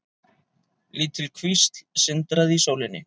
Lítil kvísl sindraði í sólinni.